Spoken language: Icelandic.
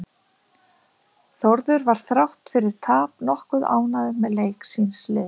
Þórður var þrátt fyrir tapaði nokkuð ánægður með leik síns liðs.